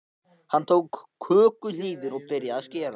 Hann tók kökuhnífinn og byrjaði að skera.